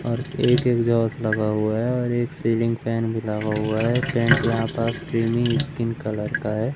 और एक एग्जास्ट लगा हुआ है और एक सीलिंग फैन भी लगा हुआ है पेंट यहां पास क्रीमी स्किन कलर का है।